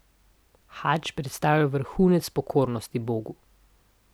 Hadž predstavlja vrhunec pokornosti Bogu.